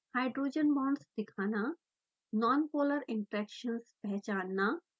hydrogen bonds दिखाना nonpolar interactions पहचानना